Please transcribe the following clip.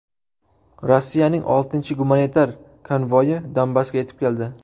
Rossiyaning oltinchi gumanitar konvoyi Donbassga yetib keldi.